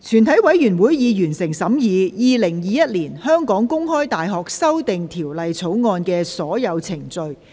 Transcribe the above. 全體委員會已完成審議《2021年香港公開大學條例草案》的所有程序。